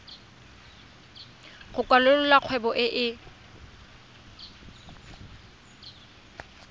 go kwalolola kgwebo e e